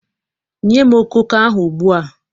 Nye m okooko ahụ ugbu a!